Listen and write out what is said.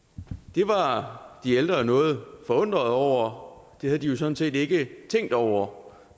det var de ældre jo noget forundrede over det havde de jo sådan set ikke tænkt over